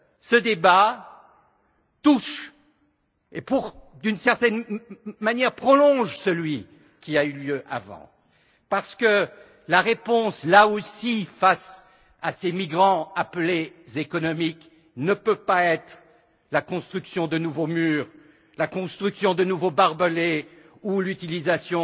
Ce débat nous touche donc et, d'une certaine manière, prolonge le débat précédent parce que la réponse, là aussi, face à ces migrants appelés économiques ne peut pas être la construction de nouveaux murs, la construction de nouveaux barbelés ou l'utilisation